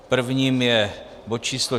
Prvním je bod číslo